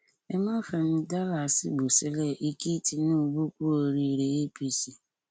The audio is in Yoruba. ẹ má fẹnu dá làásìgbò sílé e kí tinubu kú oríire apc